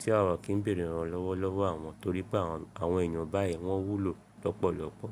tí àwa ò kí ń bèèrè ìrànlọ́wọ́ lọ́wọ́ àwọn, torí pé àwọn èèyàn báyìí wọ́n wúlò lọ́pọ̀lọpọ̀.